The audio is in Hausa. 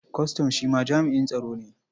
Kwastam shi ma jami'in tsaro ne.